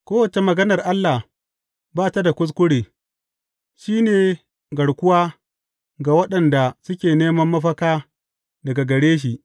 Kowace maganar Allah ba ta da kuskure; shi ne garkuwa ga waɗanda suke neman mafaka daga gare shi.